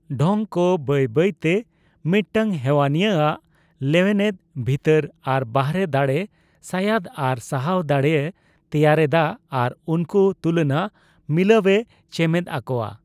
ᱰᱷᱚᱝᱠᱚ ᱵᱟᱹᱭ ᱵᱟᱹᱭᱛᱮ ᱢᱤᱫᱴᱟᱝ ᱦᱮᱣᱟᱱᱤᱭᱟᱹ ᱟᱜ ᱞᱮᱱᱮᱣᱮᱫ, ᱵᱷᱤᱛᱟᱹᱨ ᱟᱨ ᱵᱟᱦᱨᱮ ᱫᱟᱲᱮ, ᱥᱟᱭᱟᱫ ᱟᱨ ᱥᱟᱦᱟᱣ ᱫᱟᱲᱮᱭ ᱛᱮᱭᱟᱨ ᱮᱫᱟ ᱟᱨ ᱩᱱᱠᱩ ᱛᱩᱞᱚᱱᱟᱹ ᱢᱤᱞᱟᱹᱣᱮ ᱪᱮᱢᱮᱫ ᱟᱠᱚᱣᱟ ᱾